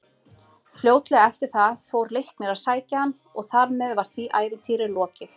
Fljótlega eftir það fór Leiknir að sækja hann og þar með var því ævintýri lokið.